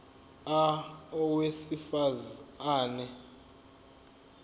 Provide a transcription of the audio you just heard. a owesifaz ane